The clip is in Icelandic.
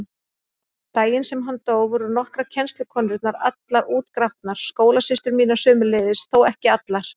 Daginn sem hann dó voru nokkrar kennslukonurnar allar útgrátnar, skólasystur mínar sömuleiðis, þó ekki allar.